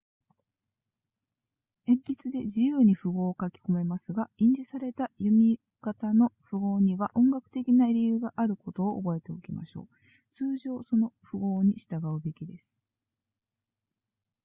鉛筆で自由に符号を書き込めますが印字された弓形の符合には音楽的な理由があることを覚えておきましょう通常その符号に従うべきです